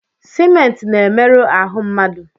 Simenti na-emerụ ahụ mmadụ.